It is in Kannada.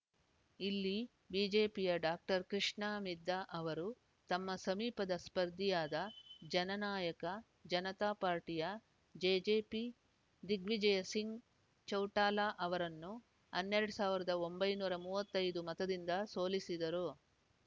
ಇಲ್ಲಿ ಬಿಜೆಪಿಯ ಡಾ ಕೃಷ್ಣ ಮಿದ್ಧಾ ಅವರು ತಮ್ಮ ಸಮೀಪದ ಸ್ಪರ್ಧಿಯಾದ ಜನನಾಯಕ ಜನತಾ ಪಾರ್ಟಿಯ ಜೆಜೆಪಿ ದಿಗ್ವಿಜಯ ಸಿಂಗ್‌ ಚೌಟಾಲಾ ಅವರನ್ನು ಹನ್ನೆರಡು ಸಾವರದ ಒಂಬೈನೂರ ಮೂವತ್ತೈದು ಮತದಿಂದ ಸೋಲಿಸಿದರು